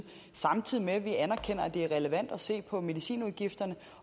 samtidig med at vi anerkender at det er relevant at se på medicinudgifterne